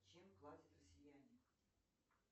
чем платят россияне